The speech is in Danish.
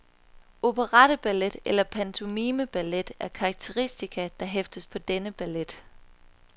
Operetteballet eller pantomimeballet er karakteristika, der hæftes på denne ballet.